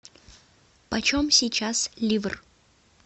почем сейчас ливр